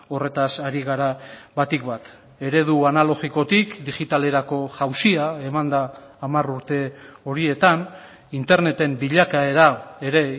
horretaz ari gara batik bat eredu analogikotik digitalerako jauzia eman da hamar urte horietan interneten bilakaera ere